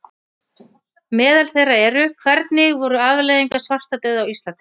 Meðal þeirra eru: Hvernig voru afleiðingar svartadauða á Íslandi?